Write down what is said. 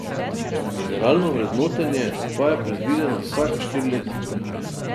Generalno vrednotenje pa je predvideno vsaka štiri leta.